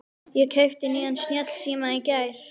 Ég keypti nýjan snjallsíma í gær.